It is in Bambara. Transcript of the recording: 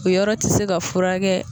O yɔrɔ ti se ka furakɛ